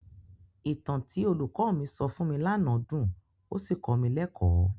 Ìtàn tí olùkọ́ mi sọ fún mi lánàá dùn ó sì kọ́ mi lẹ́kọ̀ọ́.